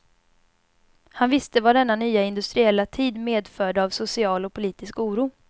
Han visste vad denna nya industriella tid medförde av social och politisk oro.